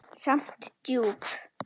Samt djúp.